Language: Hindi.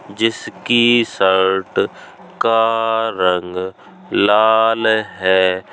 जिसकी शर्ट का रंग लाल है।